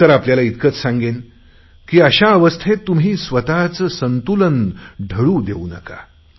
मी तर आपल्याला इतकेच सांगेन की अशा अवस्थेत तुम्ही स्वतचे संतुलन ढळू देऊ नका